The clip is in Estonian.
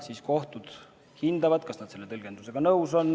Seejärel kohtud hindavad, kas nad on selle tõlgendusega nõus.